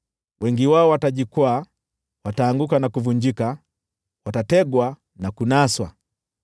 Wengi wao watajikwaa; wataanguka na kuvunjika, watategwa na kunaswa.”